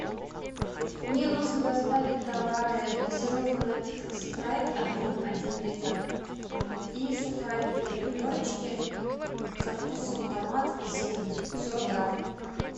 мне нужно доставить товары газированный напиток спрайт объем один литр и сухарики три корочки со вкусом томат и зелень сорок грамм